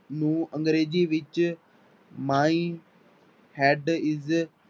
ਨੂੰ ਅੰਗਰੇਜ਼ੀ ਵਿੱਚ my head is